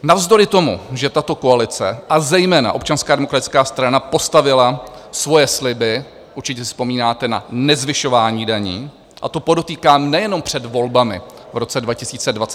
Navzdory tomu, že tato koalice a zejména Občanská demokratická strana postavila svoje sliby, určitě si vzpomínáte, na nezvyšování daní, a to podotýkám nejenom před volbami v roce 2021, ale i po volbách.